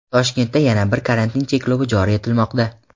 Toshkentda yana bir karantin cheklovi joriy etilmoqda.